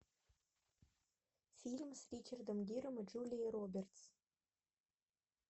фильм с ричардом гиром и джулией робертс